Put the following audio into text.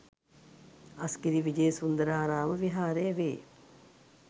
අස්ගිරි විජේසුන්දරාරාම විහාරය වේ.